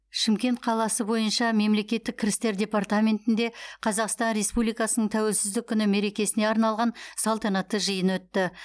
шымкент қаласы бойынша мемлекеттік кірістер департаментінде қазақстан республикасының тәуелсіздік күні мерекесіне арналған салтанатты жиын өтті